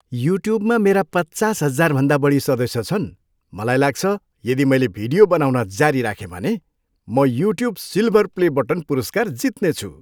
युट्युबमा मेरा पचास हजारभन्दा बढी सदस्य छन्। मलाई लाग्छ, यदि मैले भिडियो बनाउन जारी राखेँ भने, म युट्युब सिल्भर प्ले बटन पुरस्कार जित्नेछु।